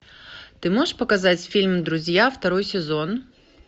ты можешь показать фильм друзья второй сезон